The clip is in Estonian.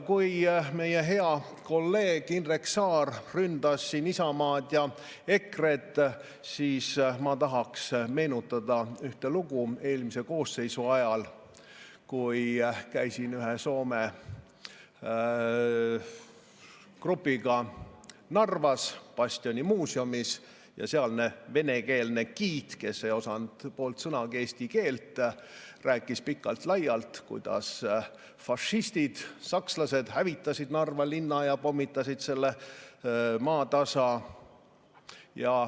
Kui meie hea kolleeg Indrek Saar ründas siin Isamaad ja EKRE‑t, siis ma tahaksin meenutada ühte lugu eelmise koosseisu ajast, kui ma käisin ühe Soome grupiga Narvas bastioni muuseumis ja sealne venekeelne giid, kes ei osanud poolt sõnagi eesti keelt, rääkis pikalt-laialt, kuidas fašistid, sakslased hävitasid Narva linna ja pommitasid selle maatasa.